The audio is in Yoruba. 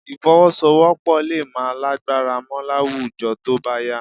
Ìfọwọ́sowọ́́pọ̀ lè má lágbára mọ́ láwùjọ tó bá yá